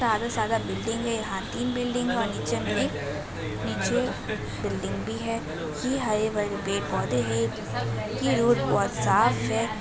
ज्यादा से ज्यादा यहां बिल्डिंग है। यहां तीन बिल्डिंग वहां नीचे में एक नीचे बिल्डिंग भी है। यह हरे-भरे पौधे हैं। यह रोड बहोत साफ है।